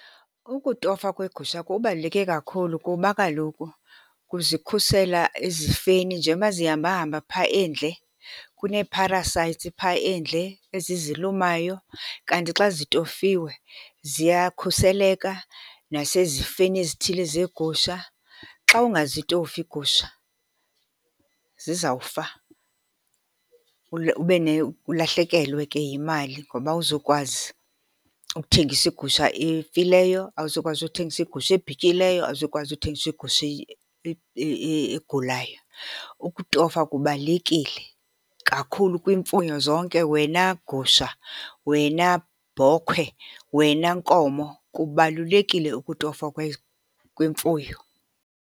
Ukutofwa kweegusha kubaluleke kakhulu, kuba kaloku kuzikhusela ezifeni. Njengoba zihamba hamba phaa endle, kunee-parasites phaa endle ezizilumayo, kanti xa zitofiwe ziyakhuseleka nasezifeni ezithile zeegusha. Xa ungazitofi iigusha zizawufa ulahlekelwe ke yimali. Ngoba awuzukwazi ukuthengisa igusha efileyo, awuzukwazi ukuthengisa igusha ebhityileyo, awuzukwazi ukuthengisa igusha egulayo. Ukutofa kubalulekile kakhulu kwiimfuyo zonke, wena gusha, wena bhokhwe, wena nkomo. Kubalulekile ukutofwa kwemfuyo.